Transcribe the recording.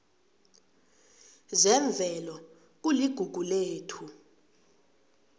zemvelo kuligugu lethu